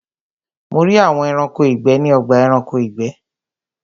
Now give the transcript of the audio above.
Mo rí àwọn Ẹranko ìgbẹ́ ní ọgbà Ẹranko ìgbẹ́